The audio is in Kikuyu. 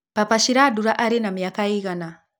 Papa shirandula arĩ na mĩaka ĩigana